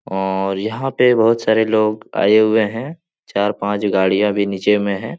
और यहाँ पे बहोत सारे लोग आए हुए हैं चार पाँच गाड़ियां भी नीचे में है।